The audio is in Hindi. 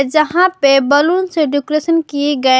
यहां पे बैलून से डेकोरेशन किए गए।